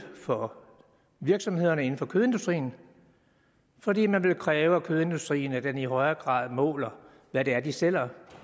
for virksomhederne inden for kødindustrien fordi man kræver af kødindustrien at de i højere grad måler hvad det er de sælger